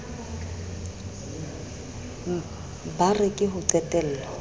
ba re ke ho qetello